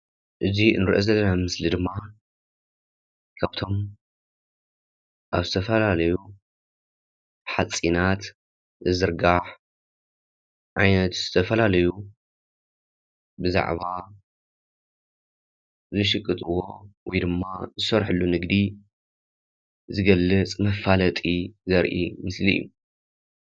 እዚ እንርእዮ ዘለና ምስሊ ድማ ካብቶም ኣብ ዝተፋለለዩ ሓፂናት ዝዝርጋሕ ዓይነት ዝተፈላለዩ ብዛዕባ ዝሽቅጥዎ ወይድማ ዝሰርሕሉ ንግዲ ዝገልፅ መፋለጢ ዘርኢ ምስሊ እዩ።